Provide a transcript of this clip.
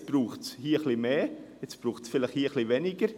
Hier braucht es etwas mehr, hier vielleicht etwas weniger.